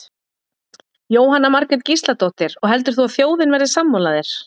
Jóhanna Margrét Gísladóttir: Og heldur þú að þjóðin verði sammála þér?